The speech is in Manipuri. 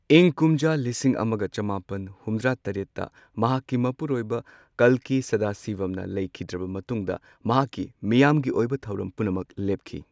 ꯏꯪ ꯀꯨꯝꯖꯥ ꯂꯤꯁꯤꯡ ꯑꯃꯒ ꯆꯃꯥꯄꯟ ꯍꯨꯝꯗ꯭ꯔꯥ ꯇꯔꯦꯠꯇ ꯃꯍꯥꯛꯀꯤ ꯃꯄꯨꯔꯣꯏꯕ ꯀꯜꯀꯤ ꯁꯗꯥꯁꯤꯕꯝꯅ ꯂꯩꯈꯤꯗ꯭ꯔꯕ ꯃꯇꯨꯡꯗ ꯃꯍꯥꯛꯀꯤ ꯃꯤꯌꯥꯝꯒꯤ ꯑꯣꯏꯕ ꯊꯧꯔꯝ ꯄꯨꯝꯅꯃꯛ ꯂꯦꯞꯈꯤ꯫